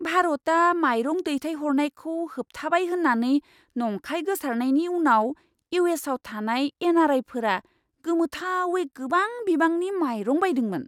भारता मायरं दैथायहरनायखौ होबथाबाय होन्नानै नंखाय गोसारनायनि उनाव इउ.एस.आव थानाय एन.आर.आइ.फोरा गोमोथावै गोबां बिबांनि मायरं बायदोंमोन!